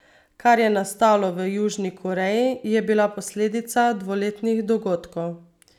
Kar je nastalo v Južni v Koreji, je bila posledica dvoletnih dogodkov.